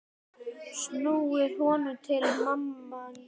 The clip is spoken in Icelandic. snúið honum til manns.